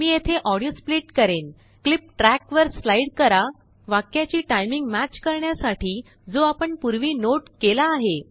मी येथेऑडियो स्प्लिट करेनक्लिप ट्रैक वर स्लाइड करा वाक्याची टाइमिंग मॅच करण्यासाठी जो आपण पूर्वीनोट केला आहे